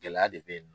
Gɛlɛya de bɛ yen nɔ